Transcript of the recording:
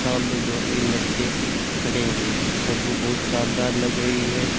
सामने दो तीन लड़के खड़े हुये है फोटो बहुत शानदार लग रही है।